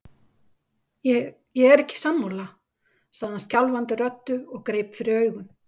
Ég er ekki sammála, sagði hann skjálfandi röddu og greip fyrir augun.